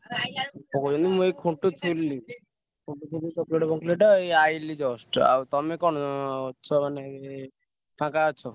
ଆଉ ଏଇ ଆଇଲି just ଆଉ ତମେ କଣ କରୁକ ମାନେ ଫାଙ୍କ ଅଛ?